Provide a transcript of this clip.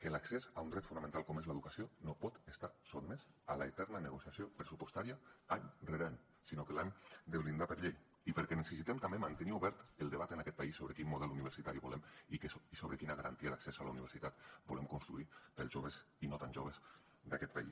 que l’accés a un dret fonamental com ho és l’educació no pot estar sotmès a l’eterna negociació pressupostària any rere any sinó que l’han de blindar per llei i perquè necessitem també mantenir obert el debat en aquest país sobre quin model universitari volem i sobre quina garantia d’accés a la universitat volem construir per als joves i no tan joves d’aquest país